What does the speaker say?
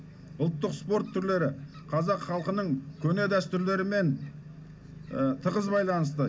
ұлттық спорт түрлері қазақ халқының көне дәстүрлерімен тығыз байланысты